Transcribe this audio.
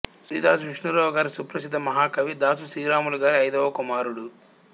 శ్రీ దాసు విష్ణురావు గారు సుప్రసిధ్ధ మహా కవి దాసు శ్రీరాములు గారి యైదవ కుమారుడు